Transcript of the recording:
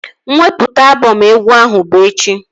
Mwepụta abọm egwu ahụ bụ echi